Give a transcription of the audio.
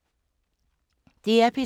DR P3